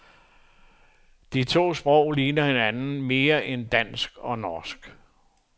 De to sprog ligner hinanden mere end dansk og norsk.